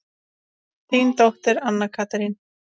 Þín dóttir, Anna Katrín.